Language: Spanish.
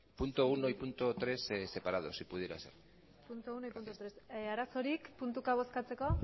punto uno y punto tres separados si pudiera ser punto uno y punto tres arazorik puntuka bozkatzeko